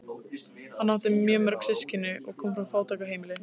Hann átti mjög mörg systkini og kom frá fátæku heimili.